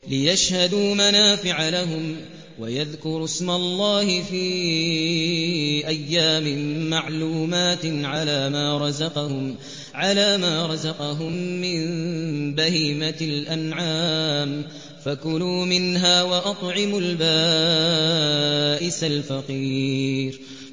لِّيَشْهَدُوا مَنَافِعَ لَهُمْ وَيَذْكُرُوا اسْمَ اللَّهِ فِي أَيَّامٍ مَّعْلُومَاتٍ عَلَىٰ مَا رَزَقَهُم مِّن بَهِيمَةِ الْأَنْعَامِ ۖ فَكُلُوا مِنْهَا وَأَطْعِمُوا الْبَائِسَ الْفَقِيرَ